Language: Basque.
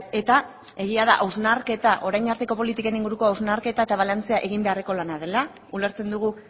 eta egia da hausnarketa orain arteko politiken inguruko hausnarketa eta balantzea egin beharreko lana dela ulertzen dugu